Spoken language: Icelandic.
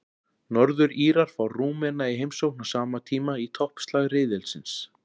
Norður-Írar fá Rúmena í heimsókn á sama tíma í toppslag riðilsins.